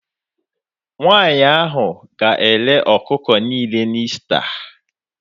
Nwanyị ahụ ga-ere ọkụkọ niile na Ista